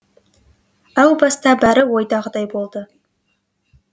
әу баста бәрі ойдағыдай болды